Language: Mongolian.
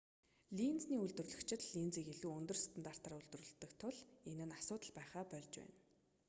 линзний үйлдвэрлэгчид линзийг илүү өндөр стандартаар үйлдвэрлэдэг тул энэ нь асуудал байхаа больж байна